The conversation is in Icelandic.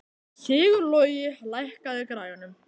Sigurlogi, lækkaðu í græjunum.